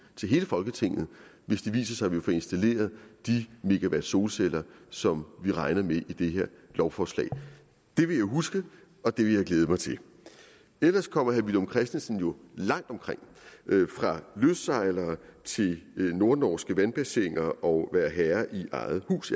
til hele folketinget hvis det viser sig at vi får installeret de megawatt solceller som vi regner med i det her lovforslag det vil jeg huske og det vil jeg glæde mig til ellers kommer herre villum christensen jo langt omkring fra lystsejlere til nordnorske vandbassiner og være herre i eget hus